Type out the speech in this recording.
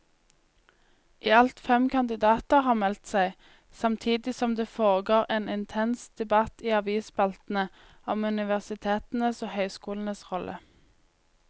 I alt fem kandidater har meldt seg, samtidig som det foregår en intens debatt i avisspaltene om universitetenes og høyskolenes rolle.